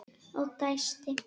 Og dæsti.